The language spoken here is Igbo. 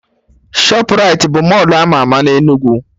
Shọprait bụ Mọlụ ama ama na Enugu